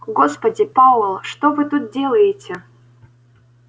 господи пауэлл что вы тут делаете